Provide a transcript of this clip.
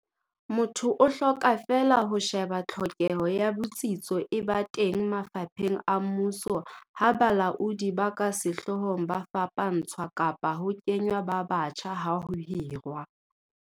Motho o hloka feela ho she ba tlhokeho ya botsitso e ba teng mafapheng a mmuso ha balaodi ba ka sehloohong ba fapantshwa kapa ho kengwa ba batjha ha ho hirwa